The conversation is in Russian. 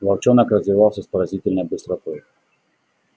волчонок развивался с поразительной быстротой